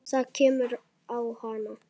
Það kemur á hana.